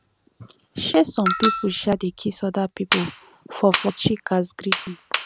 um some pipo um dey kiss oda pipo for for cheek as greeting